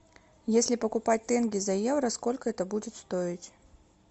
если покупать тенге за евро сколько это будет стоить